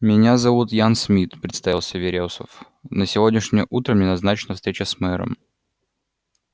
меня зовут ян смит представился верёсов на сегодняшнее утро мне назначена встреча с мэром